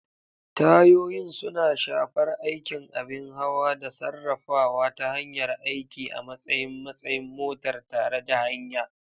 Tayoyin suna shafar aikin abin hawa da sarrafawa ta hanyar aiki a matsayin matsayin motar tare da hanya.